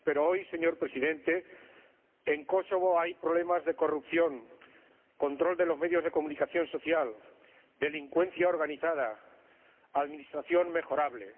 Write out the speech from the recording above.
Pero hoy, señor Presidente, en Kosovo hay problemas de corrupción, de control de los medios de comunicación social, de delincuencia organizada, de administración mejorable.